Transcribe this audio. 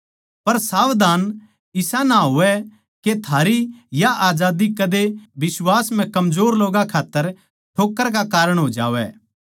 पर सावधान इसा ना होवै के थारी या आजादी कदे बिश्वास म्ह कमजोर लोग्गां खात्तर ठोक्कर का कारण हो जावै